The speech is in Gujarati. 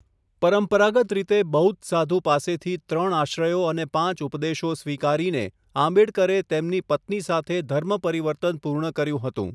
પરંપરાગત રીતે બૌદ્ધ સાધુ પાસેથી ત્રણ આશ્રયો અને પાંચ ઉપદેશો સ્વીકારીને, આંબેડકરે તેમની પત્ની સાથે ધર્મ પરિવર્તન પૂર્ણ કર્યું હતું.